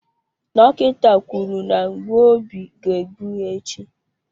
Dọkịta kwuru na mgbu obi ga egbu ya echi.